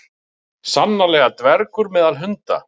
sannarlega dvergur meðal hunda